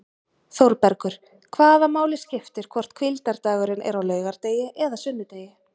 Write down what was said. ÞÓRBERGUR: Hvaða máli skiptir hvort hvíldardagurinn er á laugardegi eða sunnudegi!